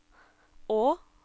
å